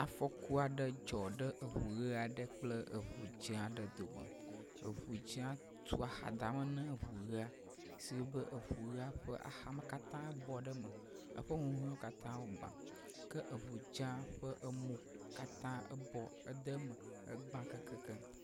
Afɔku aɖe dzɔ ɖe ŋu ʋe aɖe kple eŋu dze aɖe dome. Eŋu dze tu axadame na eŋu ʋea, si wɔe be eŋu ʋea ƒe axame katã bɔ ɖe eme, eƒe nuwo katã wogbã ke eŋu dzea ƒe emo katã ebɔ ede eme egba keŋkeŋkeŋ.